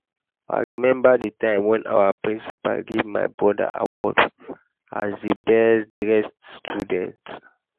i remember the time wen our principal give my broda award as the best dressed student